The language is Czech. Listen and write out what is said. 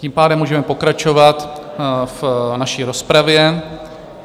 Tím pádem můžeme pokračovat v naší rozpravě.